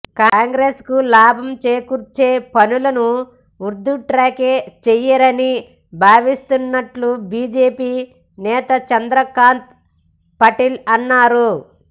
కాంగ్రెస్కు లాభం చేకూర్చే పనులను ఉద్దవ్ థాక్రే చేయరని భావిస్తున్నట్లు బీజేపీ నేత చంద్రకాంత్ పాటిల్ అన్నారు